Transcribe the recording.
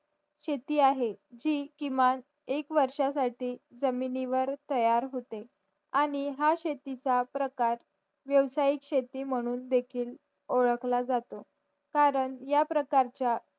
शेती आहे जी किमान एक वर्ष साठी जमिनिवर तयार होते आणि हा शेती चा प्रकार व्यावसायिक शेती म्हणून देखील ओळखला जातो करून या प्रकारचा